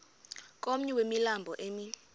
komnye wemilambo emi